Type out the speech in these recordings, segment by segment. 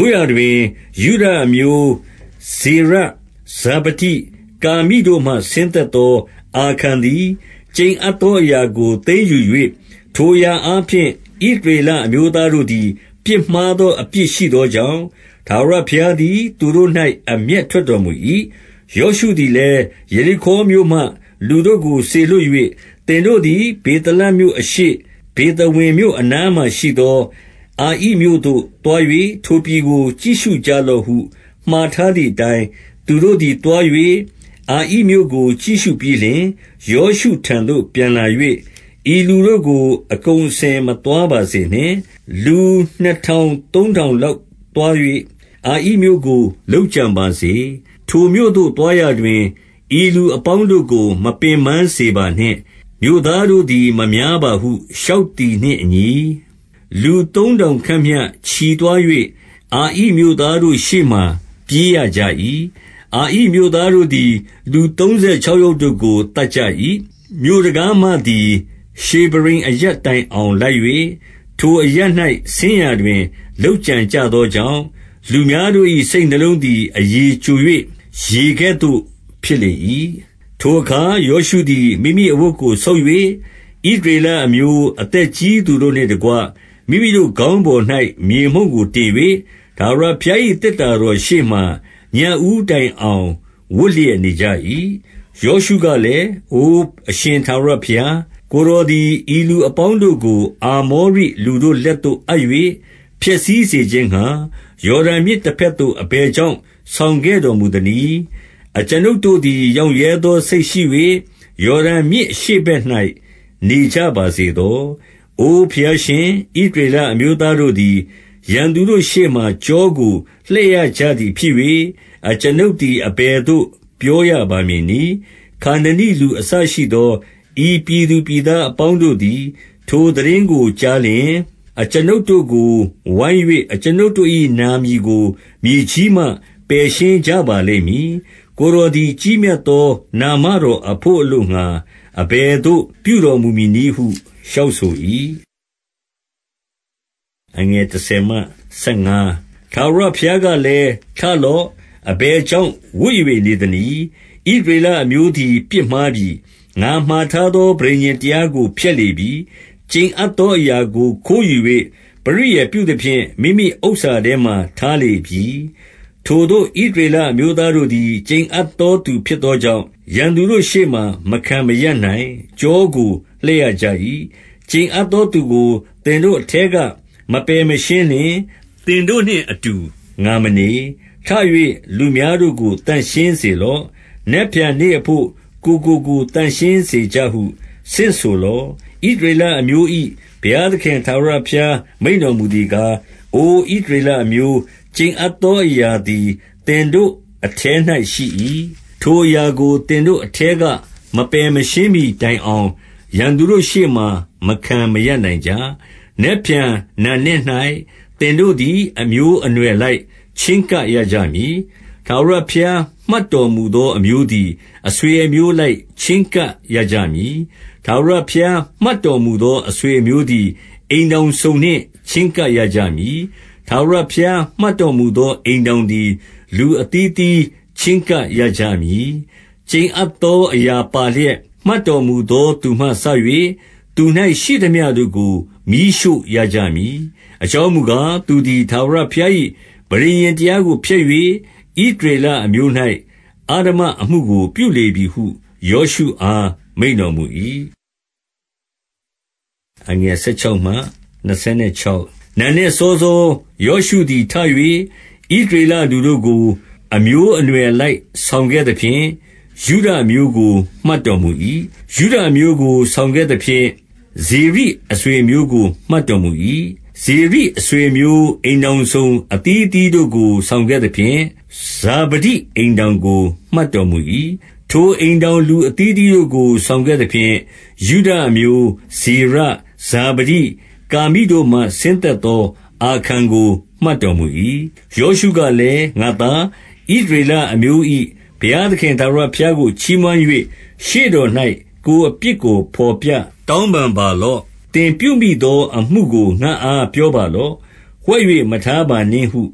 ို့ရာတွင် ယုဒအမျိုး၊ ဇေရ၊ ဇာဗဒိ၊ ကာမိတို့မှ ဆင်းသက်သော အာခန်သည်၊ ကျိန်အပ်သောအရာကို သိမ်းယူ၍ ထိုအရာအားဖြင့် ဣသရေလအမျိုးသားတို့ သည် ပြစ်မှားသောအပြစ် ရှိသောကြောင့်၊ ထာဝရဘုရား သည် သူတို့၌ အမျက်ထွက်တော်မူ၏။ 2 ယောရှုသည်လည်း၊ ယေရိခေါမြို့မှ လူတို့ကို စေလွှတ်၍၊ သင်တို့သည် ဗေသလမြို့အရှေ့၊ ဗေသဝင်မြို့ အနားမှာရှိသော အာဣမြို့သို့ သွား၍ ထိုပြည်ကို ကြည့်ရှု ကြလော့ဟု မှာထားသည်အတိုင်း သူတို့သည် သွား၍၊ အာဣမြို့ကို ကြည့်ရှုပြီးလျှင်၊ 3 ယောရှုထံသို့ ပြန်လာ၍၊ ဤလူတို့ကို အကုန်အ စင် မသွားပါစေနှင့်။ လူနှစ်ထောင် သုံးထောင်လောက် သွား၍ အာဣမြို့ကို လုပ်ကြံပါစေ။ ထိုမြို့သို့ သွားရာတွင် ဤလူအပေါင်းတို့ကို မပင်ပန်းပါစေနှင့်။ မြို့သားတို့သည် မများပါဟု လျှောက်သည်နှင့်အညီ၊ 4 လူသုံးထောင်ခန့်မျှ ချီသွား၍ အာဣမြို့သားတို့ ရှေ့မှာ ပြေးရကြ၏။ 5 အာဣမြို့သားတို့သည် လူသုံးဆယ်ခြောက် ယောက်တို့ကို သတ်ကြ၏။ မြို့တံခါးမှသည် ရှေဗရိမ်အ ရပ်တိုင်အောင်လိုက်၍၊ ထိုအရပ်၌ ဆင်းရာတွင် လုပ်ကြံ ကြသောကြောင့်၊ လူများတို့၏ စိတ်နှလုံးသည် အရည်ကျို ၍ ရေကဲ့သို့ ဖြစ်လေ၏။ 6 ထိုအခါ ယောရှုသည် မိမိအဝတ်ကို ဆုတ်၍ ဣသရေလအမျိုး အသက်ကြီးသူတို့နှင့်တကွ၊ မိမိတို့ခေါင်း ပေါ်၌ မြေမှုန့်ကိုတင်၍ ထာဝရဘုရား၏ သေတ္တာတော် ရှေ့မှာ ညဦးတိုင်အောင် ဝပ်လျက်နေကြ၏။ 7 ယောရှုကလည်း၊ အိုအရှင် ထာဝရဘုရား၊ ကိုယ် တော်သည် ဤလူအပေါင်းတို့ကို အာမောရိလူတို့လက်သို့ အပ်၍ ဖျက်ဆီးစေခြင်းငှါ ယော်ဒန်မြစ်တဘက်သို့ အဘယ်ကြောင့် ဆောင်ခဲ့တော်မူသနည်း။ အကျွန်ုပ်တို့ သည် ရောင့်ရဲသောစိတ်ရှိ၍ ယော်ဒန်မြစ်အရှေ့ဘက်၌ နေကြပါစေသော။ 8 အိုဘုရားရှင်၊ ဣသရေလအမျိုးသားတို့သည် ရန်သူတို့ရှေ့မှာ ကျောကိုလှည့်ရကြသည်ဖြစ်၍ အကျွန်ုပ် သည် အဘယ်သို့ ပြောရပါမည်နည်း။ 9 ခါနနိလူ အစရှိသော ဤပြည်သူပြည်သား အပေါင်းတို့သည် ထိုသိတင်းကို ကြားလျှင်၊ အကျွန်ုပ်တို့ကို ဝိုင်း၍ အကျွန်ုပ်တို့၏နာမည်ကို မြေကြီးမှ ပယ်ရှင်းကြပါ လိမ့်မည်။ ကိုယ်တော်သည် ကြီးမြတ်သောနာမတော်အဘို့ အလိုငှါ အဘယ်သို့ ပြုတော်မူမည်နည်းဟု လျှောက်ဆို၏။ 10 ထာဝရဘုရားကလည်း၊ ထလော့။ အဘယ် ကြောင့် ဝပ်၍နေသနည်း။ 11 ဣသရေလအမျိုးသည် ပြစ်မှားပြီ။ ငါမှာထား သော ပဋိညာဉ်တရားကို ဖျက်လေပြီ။ ကျိန်အပ်သောအ ရာကို ခိုးယူ၍ ပရိယာယ်ပြုသဖြင့် မိမိဥစ္စာထဲမှာ ထား လေပြီ။ 12 ထိုသို့ ဣသရေလအမျိုးသားတို့သည် ကျိန်အပ် သောသူဖြစ်သောကြောင့်၊ ရန်သူတို့ရှေ့မှာ မခံမရပ်နိုင်၊ ကျောကို လှည့်ရကြ၏။ ကျိန်အပ်သောသူကို သင်တို့အထဲ က မပယ်မရှင်းလျှင် သင်တို့နှင့်အတူ ငါမနေ။ 13 ထ၍ လူများတို့ကို သန့်ရှင်းစေလော့။ နက်ဖြန် နေ့အဘို့ ကိုယ်ကိုကိုယ် သန့်ရှင်းစေကြဟု ဆင့်ဆိုလော့။ ဣသရေလအမျိုး၏ ဘုရားသခင် ထာဝရဘုရား မိန့်တော် မူသည်ကား၊ အိုဣသရေလအမျိုး၊ ကျိန်အပ်သောအရာ သည် သင်တို့အထဲ၌ ရှိ၏။ ထိုအရာကို သင်တို့အထဲက မပယ်မရှင်းမှီတိုင်အောင် ရန်သူတို့ရှေ့မှာ မခံမရပ်နိုင်ကြ။ 14 နက်ဖြန်နံနက်၌ သင်တို့သည် အမျိုးအနွယ်အ လိုက် ချဉ်းကပ်ရကြမည်။ ထာဝရဘုရား မှတ်တော်မူ သော အမျိုးသည်၊ အဆွေအမျိုးအလိုက် ချဉ်းကပ်ရကြ မည်။ ထာဝရဘုရား မှတ်တော်မူသောအမျိုးသည်၊ အိမ်ထောင်စုံနှင့် ချဉ်းကပ်ရကြမည်။ ထာဝရ ဘုရား မှတ်တော်မူသော အိမ်ထောင်သည် လူအသီးသီး ချဉ်းကပ်ရကြမည်။ 15 ကျိန်အပ်သော အရာပါလျက် မှတ်တော်မူသော သူမှစ၍၊ သူ၌ရှိသမျှတို့ကို မီးရှို့ရကြမည်။ အကြောင်းမူ ကား၊ သူသည် ထာဝရဘုရား၏ ပဋိညာဉ်တရားကို ဖျက် ၍ ဣသရေလအမျိုး၌ အဓမ္မအမှုကို ပြုလေပြီဟု ယောရှု အား မိန့်တော်မူ၏။ 16 နံနက်စောစော ယောရှုသည် ထ၍ ဣသရေလ လူတို့ကို အမျိုးအနွယ်အလိုက် ဆောင်ခဲ့သဖြင့် ယုဒအမျိုး ကို မှတ်တော်မူ၏။ 17 ယုဒအမျိုးကို ဆောင်ခဲ့သဖြင့်၊ ဇေရိအဆွေအ မျိုးကို မှတ်တော်မူ၏။ ဇေရိအဆွေအမျိုး အိမ်ထောင်စုံ အသီးအသီးတို့ကို ဆောင်ခဲ့သဖြင့် ဇာဗဒိအိမ်ထောင်ကို မှတ်တော်မူ၏။ 18 ထိုအိမ်ထောင် လူအသီးအသီးတို့ကို ဆောင်ခဲ့သ ဖြင့် ယုဒအမျိုး၊ ဇေရ၊ ဇာဗဒိ၊ ကာမိတို့မှ ဆင်းသက်သော အာခန်ကို မှတ်တော်မူ၏။ 19 ယောရှုကလည်း၊ ငါ့သား၊ ဣသရေလအမျိုး၏ ဘုရားသခင် ထာဝရဘုရားကို ချီးမွမ်း၍ ရှေ့တော်၌ ကိုယ်အပြစ်ကို ဘော်ပြတောင်းပန်ပါလော့။ သင်ပြုသောအမှုကို ငါ့အားပြောပါလော့။ ဝှက်၍မထား ပါနှင့်ဟု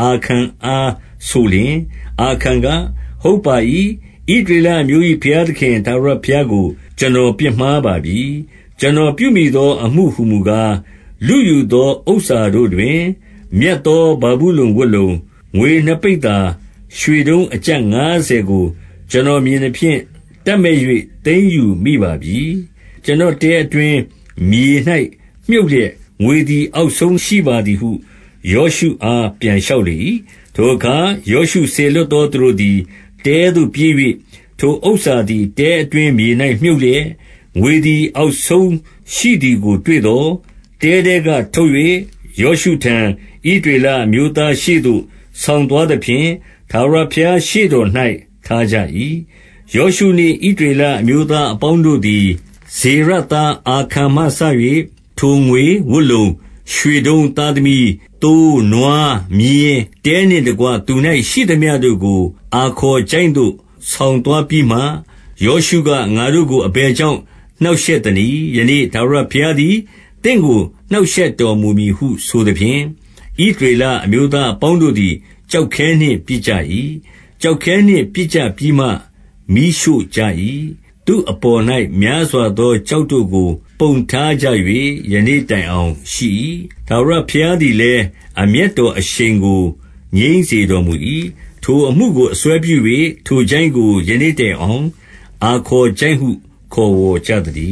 အာခန်အားဆိုလျှင်၊ 20 အာခန်က၊ ဟုတ်ပါ၏။ ဣသရေလအမျိုး၏ ဘုရားသခင် ထာဝရဘုရားကို ကျွန်တော်ပြစ်မှားပါပြီ။ ကျွန်တော်ပြုမိသောအမှု ဟူမူကား၊ 21 လုယူသော ဥစ္စာတို့တွင် မြတ်သောဗာဗုလုန် ဝတ်လုံ၊ ငွေနှစ်ပိဿာ၊ ရွှေတုံးအကျပ်ငါးဆယ်ကို ကျွန် တော်မြင်သဖြင့်၊ တပ်မက်၍ သိမ်းယူမိပါပြီ။ ကျွန်တော် တဲအတွင်း မြေ၌မြှုပ်လျက် ငွေသည် အောက်ဆုံးရှိပါ သည်ဟု ယောရှုအား ပြန်လျှောက်လေ၏။ 22 ထိုအခါ ယောရှုစေလွှတ်သောသူတို့သည် တဲသို့ ပြေး၍ ထိုဥစ္စာသည် တဲအတွင်း မြေ၌မြှုပ်လျက်၊ ငွေသည် အောက်ဆုံးရှိသည်ကို တွေ့သော်၊ 23 တဲထဲကထုတ်၍ ယောရှုထံ ဣသရေလအမျိုး သားများရှေ့သို့ ဆောင်သွားသဖြင့်၊ ထာဝရဘုရားရှေ့ တော်၌ ထားကြ၏။ 24 ယောရှုနှင့် ဣသရေလအမျိုးသားအပေါင်းတို့ သည်၊ ဇေရသာအာခန်မှစ၍ ထိုငွေ၊ ဝတ်လုံ၊ ရွှေတုံး၊ သားသမီး၊ သိုးနွားမြည်း၊ တဲနှင့်တကွ သူ၌ရှိသမျှတို့ကို အာခေါ်ချိုင့်သို့ ဆောင်သွားပြီးမှ၊ 25 ယောရှုက၊ ငါတို့ကို အဘယ်ကြောင့် နှောင့်ရှက် သနည်း။ ယနေ့ ထာဝရဘုရားသည် သင့်ကို နှောင့်ရှက် တော်မူမည်ဟု ဆိုသဖြင့်၊ ဣသရေလအမျိုးသား အပေါင်း တို့သည် ကျောက်ခဲနှင့် ပစ်ကြ၏။ ကျောက်ခဲနှင့် ပစ်ကြ ပြီးမှ၊ မီးရှို့ကြ၏။ 26 သူ့အပေါ်၌ များစွာသော ကျောက်တို့ကို ပုံထား ကြ၍ ယနေ့တိုင်အောင်ရှိ၏။ ထာဝရဘုရားသည်လည်း အမျက်တော်အရှိန်ကို ငြိမ်းစေတော်မူ၏။ ထိုအမှုကို အစွဲ ပြု၍ ထိုချိုင့်ကို ယနေ့တိုင်အောင် အာခေါ်ချိုင့်ဟု ခေါ် ဝေါ်ကြသတည